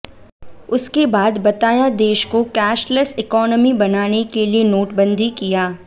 उसके बाद बताया देश को कैशलेश इकोनामी बनाने के लिए नोटबंदी किया